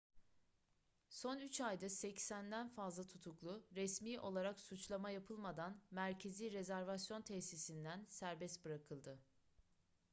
son 3 ayda 80'den fazla tutuklu resmi olarak suçlama yapılmadan merkezi rezervasyon tesisinden serbest bırakıldı